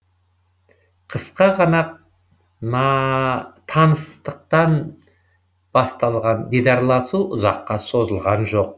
қысқа ғана таныстықпен басталған дидарласу ұзаққа созылған жоқ